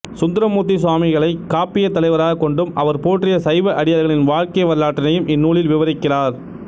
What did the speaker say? சுந்தரமூர்த்தி சுவாமிகளைக் காப்பிய தலைவராகக் கொண்டும் அவர் போற்றிய சைவ அடியார்களின் வாழ்க்கை வரலாற்றினையும் இந்நூலில் விவரிக்கிறார்